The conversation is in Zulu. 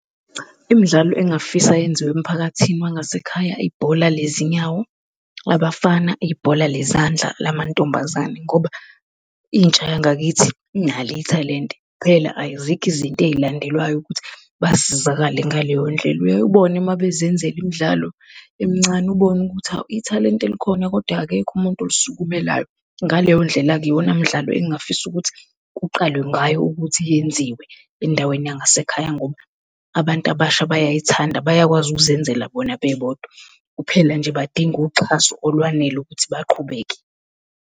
Imidlalo engingafisa yenziwe emphakathini wangasekhaya, ibhola lezinyawo labafana, ibhola lezandla lamantombazane, ngoba intsha yangakithi inalo ithalente, kuphela azikho izinto ezilandelwayo ukuthi basizakale ngaleyo ndlela uyaye ubona uma bezenzela imidlalo emncane ubone ukuthi hawu ithalente likhona, kodwa akekho umuntu olisukumelayo. Ngaleyo ndlela-ke, iwona mdlalo engingafisa ukuthi kuqalwe ngayo ukuthi yenziwe endaweni yangasekhaya, ngoba abantu abasha bayayithanda, bayakwazi ukuzenzela bona bebodwa kuphela nje badinga uxhaso olwanele ukuthi baqhubeke.